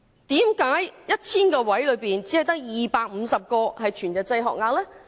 為何在 1,000 個幼稚園學額中，只有250個是全日制學額呢？